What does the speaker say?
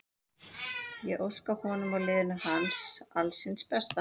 Ég óska honum og liðinu alls hins besta.